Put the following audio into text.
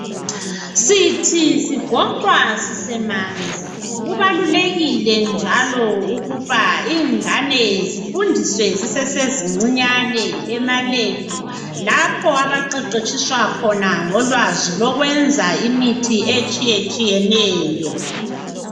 Sithi sigoqwa sisemanzi. Kubalulekile njalo ukuba, ingane zifundiswe zisezincinyane ema-lab. Lapho abaqeqetshiswa khona ngolwazi lokwenza imithi etshiyetshiyeneyo.